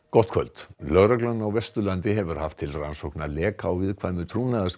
gott kvöld lögreglan á Vesturlandi hefur haft til rannsóknar leka á viðkvæmu